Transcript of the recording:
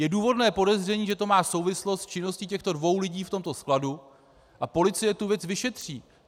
Je důvodné podezření, že to má souvislost s činností těchto dvou lidí v tomto skladu, a policie tu věc vyšetří.